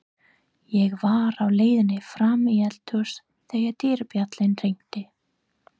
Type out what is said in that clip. Ég var á leiðinni fram í eldhús þegar dyrabjallan hringdi.